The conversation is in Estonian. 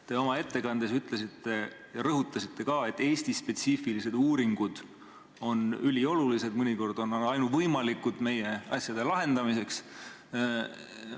Te oma ettekandes rõhutasite ka, et Eesti-spetsiifilised uuringud on üliolulised, mõnikord on nad meie asjade lahendamiseks ainuvõimalikud.